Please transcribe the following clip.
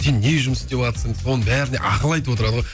сен не жұмыс істеватсың соның бәріне ақыл айтып отырады ғой